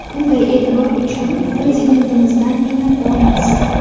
Bunday e’tibor uchun Prezidentimizdan minnatdormiz.